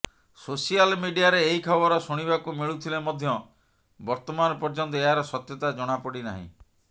social ମିଡିଆରେ ଏହି ଖବର ଶୁଣିବାକୁ ମିଳୁଥିଲେ ମଧ୍ୟ ବର୍ତ୍ତମାନ ପର୍ଯ୍ୟନ୍ତ ଏହାର ସତ୍ୟତା ଜଣାପଡ଼ି ନାହିଁ